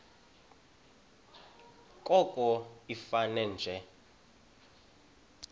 koko ifane nje